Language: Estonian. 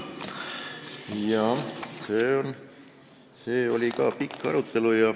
Jah, see oli ka pikk arutelu.